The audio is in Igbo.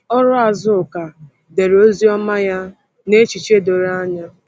Ọrụ Azuka dere Oziọma ya n’echiche doro anya.